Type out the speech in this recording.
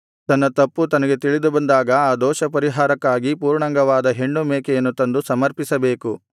ತನ್ನ ತಪ್ಪು ತನಗೆ ತಿಳಿದುಬಂದಾಗ ಆ ದೋಷಪರಿಹಾರಕ್ಕಾಗಿ ಪೂರ್ಣಾಂಗವಾದ ಹೆಣ್ಣು ಮೇಕೆಯನ್ನು ತಂದು ಸಮರ್ಪಿಸಬೇಕು